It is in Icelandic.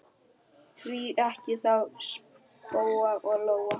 Því ekki þá spóa og lóu?